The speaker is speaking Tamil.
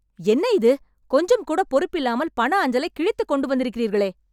என்ன இது? கொஞ்சம் கூட பொறுப்பில்லாமல் பண அஞ்சலைக் கிழித்து கொண்டு வந்திருக்கிறீர்களே